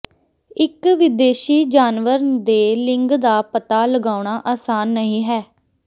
ਇਕ ਵਿਦੇਸ਼ੀ ਜਾਨਵਰ ਦੇ ਲਿੰਗ ਦਾ ਪਤਾ ਲਗਾਉਣਾ ਆਸਾਨ ਨਹੀਂ ਹੈ